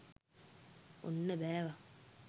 ඔන්න බෑවා!